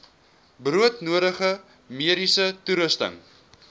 broodnodige mediese toerusting